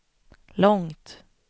långt